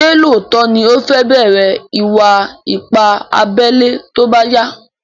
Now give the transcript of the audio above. Ṣé lóòtó ní o fẹ́ bẹ̀rẹ̀ ìwà ipá abẹ́lé tóbá yá?